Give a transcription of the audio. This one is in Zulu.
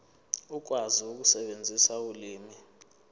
ukwazi ukusebenzisa ulimi